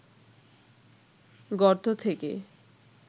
গর্ত থেকে